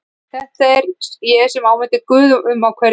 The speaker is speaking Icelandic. Þetta sem ég áminnti Guð um á hverju kvöldi.